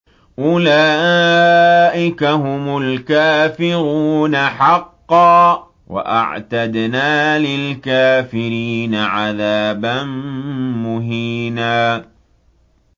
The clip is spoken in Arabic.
أُولَٰئِكَ هُمُ الْكَافِرُونَ حَقًّا ۚ وَأَعْتَدْنَا لِلْكَافِرِينَ عَذَابًا مُّهِينًا